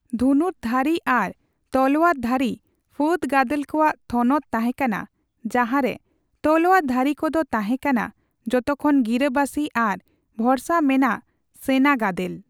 ᱫᱷᱩᱱᱩᱨᱫᱷᱟᱨᱤ ᱟᱨ ᱛᱞᱳᱭᱟᱨ ᱫᱷᱟᱨᱤ ᱯᱷᱟᱹᱫ ᱜᱟᱫᱮᱞ ᱠᱚᱣᱟᱜ ᱛᱷᱚᱱᱚᱛ ᱛᱟᱦᱮᱠᱟᱱᱟ ᱡᱟᱦᱟ ᱨᱮ ᱛᱞᱳᱭᱟᱨᱫᱷᱟᱨᱤ ᱠᱚᱫᱚ ᱠᱚ ᱛᱟᱦᱮ ᱠᱟᱱᱟ ᱡᱚᱛᱚᱠᱷᱚᱱ ᱜᱤᱨᱟᱹᱵᱟᱥᱤ ᱟᱨ ᱵᱷᱚᱨᱥᱟ ᱢᱮᱱᱟᱜ ᱥᱟᱹᱭᱱᱟᱹ ᱜᱟᱫᱮᱞ ᱾